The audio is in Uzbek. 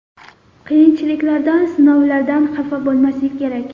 Qiyinchiliklardan, sinovlardan xafa bo‘lmaslik kerak.